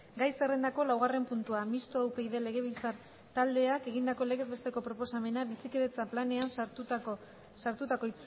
gai zerrendako laugarren puntua mistoa upyd legebiltzar taldeak egindako legez besteko proposamena bizikidetza planean sartutako